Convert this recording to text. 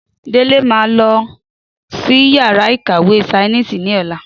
Délé ma lọsí yàrá ìkàwé sainísì ní ọ̀la